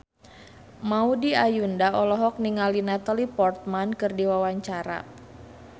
Maudy Ayunda olohok ningali Natalie Portman keur diwawancara